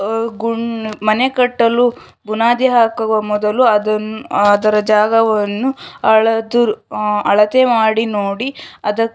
ಆ ಗುನ್‌ ಮನೆ ಕಟ್ಟಲು ಬುನಾದಿ ಹಾಕುವ ಮೊದಲು ಅದನ್‌ ಅದರ ಜಾಗವನ್ನು ಹಳೆದು ಅಳತೆ ಮಾಡಿ ನೋಡಿ ಅದ --